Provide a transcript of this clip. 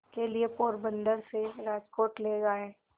के लिए पोरबंदर से राजकोट ले आए